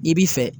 I bi fɛ